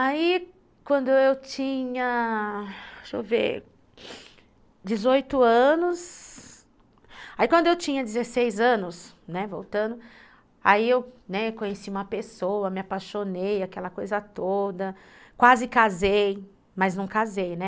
Aí quando eu tinha, deixa eu ver, dezoito anos, aí quando eu tinha dezesseis anos, né, voltando, aí eu conheci uma pessoa, me apaixonei, aquela coisa toda, né, quase casei, mas não casei, né?